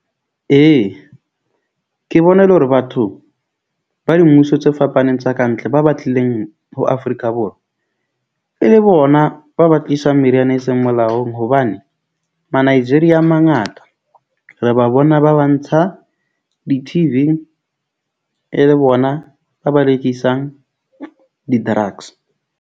Ee, ke bona e le hore batho ba dimmuso tse fapaneng tsa kantle, ba batlileng ho Afrika Borwa e le bona ba ba tlisang meriana e seng molaong. Hobane Ma-Nigeria a mangata, re ba bona ba ba ntsha di-T_V e le bona ba ba rekisang di-drugs.